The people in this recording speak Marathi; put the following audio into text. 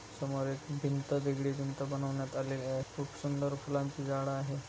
समोर एक भींत वेगळी भींत बनवण्यात आलेली आहे. खुप सुंदर फुलांची झाड आहे.